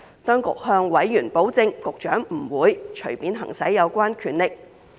當局向委員保證，局長不會隨便行使有關權力。